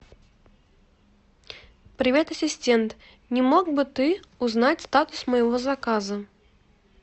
привет ассистент не мог бы ты узнать статус моего заказа